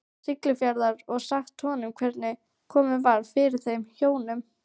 Siglufjarðar, og sagt honum hvernig komið var fyrir þeim hjónum.